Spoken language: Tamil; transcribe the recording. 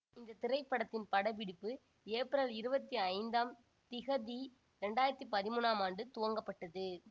இந்த திரைபடத்தின் படப்பிடிப்பு ஏப்ரல் இருபத்தி ஐந்தாம் திகதி இரண்டு ஆயிரத்தி பதிமூன்னாம் ஆண்டு துவங்கப்பட்டது